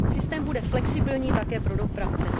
Systém bude flexibilní také pro dopravce.